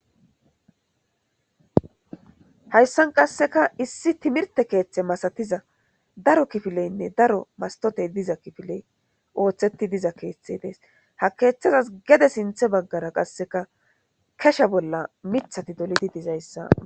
Hayssan qasseka issi timirtte keethe masatiza daro kifileynne daro masttotey diza kifiley oothetti diza keethe dee ha keethazas gede sinthe baggara qasseka keshe bolla mithati dolidi dizayssa.